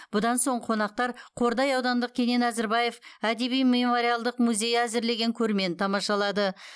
бұдан соң қонақтар қордай аудандық кенен әзірбаев әдеби мемориалдық музейі әзірлеген көрмені тамашалады